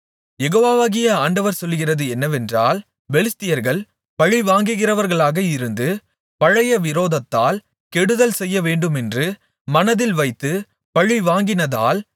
யெகோவாகிய ஆண்டவர் சொல்லுகிறது என்னவென்றால் பெலிஸ்தியர்கள் பழிவாங்கிறவர்களாக இருந்து பழைய விரோதத்தால் கெடுதல்செய்யவேண்டுமென்று மனதில் வைத்துப் பழிவாங்கினதால்